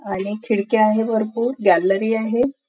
आणि खिडक्या आहे भरपूर गॅलरी आहे.